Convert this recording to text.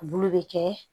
Bulu bɛ kɛ